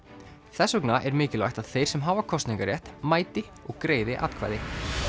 þess vegna er mikilvægt að þeir sem hafa kosningarétt mæti og greiði atkvæði